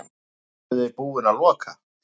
Eruði búin að loka?